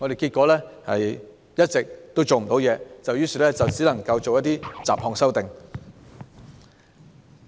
結果，我們一直做不到太多，只能作出一些雜項修訂。